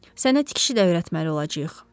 Sənə tikiş də öyrətməli olacağıq.